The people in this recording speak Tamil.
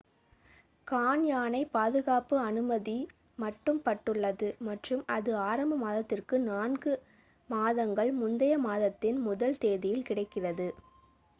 கான்யானைப் பாதுகாக்க அனுமதி மட்டுப்பட்டுள்ளது மற்றும் அது ஆரம்ப மாதத்திற்கு நான்கு 4 மாதங்கள் முந்தைய மாதத்தின் முதல் 1 தேதியில் கிடைக்கிறது